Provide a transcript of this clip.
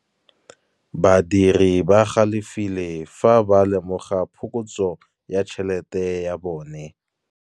Badiri ba galefile fa ba lemoga phokotsô ya tšhelête ya bone.